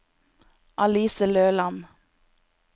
Alice Løland